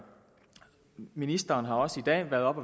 ministeren har også i dag været oppe